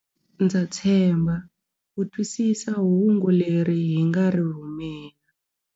Ndza tshemba u twisisa hungu leri hi nga ri rhumela.